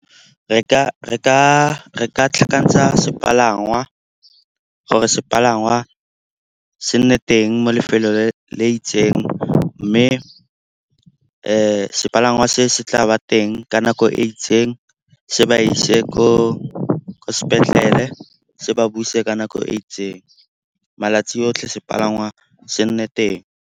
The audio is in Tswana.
Re ka tlhakantsha sepalangwa gore sepalangwa se nne teng mo lefelong le itseng. Mme sepalangwa se se tla ba teng ka nako e itseng, se ba ise ko sepetlele se ba buise ka nako e itseng. Malatsi otlhe sepalangwa se nne teng.